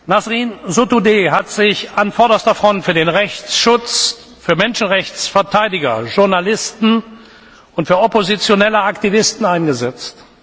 Nasrin Sotudeh hat sich an vorderster Front für den Rechtsschutz für Menschenrechtsverteidiger, Journalisten und oppositionelle Aktivisten eingesetzt.